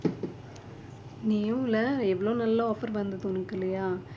நீயும் இல்ல எவ்வளோ நல்ல offer வந்தது உனக்கு இல்லையா